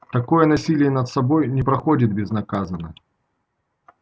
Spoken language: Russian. такое насилие над собой не проходит безнаказанно